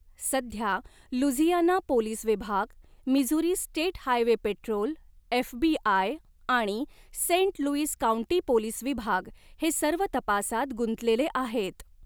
सध्या, Louisiana police विभाग, Missouri State Highway Patrol, FBI आणि सेंट लुईस काउंटी पोलीस विभाग हे सर्व तपासात गुंतलेले आहेत.